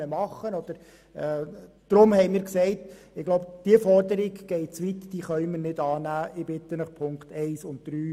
Wir haben uns gesagt, dass diese Forderung zu weit geht und wir sie nicht annehmen können.